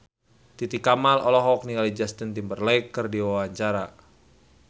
Titi Kamal olohok ningali Justin Timberlake keur diwawancara